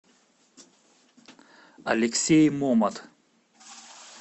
алексей момат